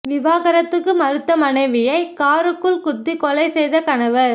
விவாகரத்துக்கு மறுத்த மனைவியை காருக்குள் குத்திக் கொலை செய்த கணவர்